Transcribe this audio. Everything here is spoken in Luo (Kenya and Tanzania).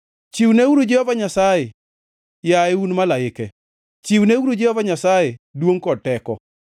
Chiwneuru Jehova Nyasaye, yaye un malaike, chiwneuru Jehova Nyasaye duongʼ kod teko.